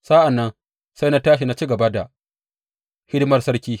Sa’an nan sai na tashi na ci gaba da hidimar sarki.